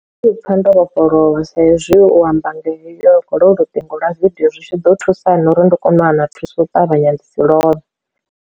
U pfha ndo vhofholowa sa izwi u amba ngolo luṱingo lwa video zwi tshi ḓo thusana uri ndi kone u wana thuso u ṱavhanya ḽi si lovhe.